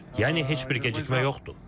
Yəni heç bir gecikmə yoxdur.